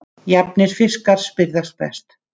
Jafnir fiskar spyrðast best.